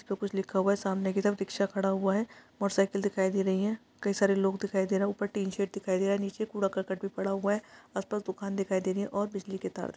इस पे कुछ लिखा हुआ है सामने की तरफ रिक्शा खड़ा हुआ है मोटर साइकिल दिखाई दे रही हैं कई सारे लोग दिखाई दे रहे है ऊपर टीन सेट दिखाई दे रहा है नीचे कूड़ा-करकट भी पड़ा हुआ है आस-पास दुकान दिखाई दे रही है और बिजली के तार --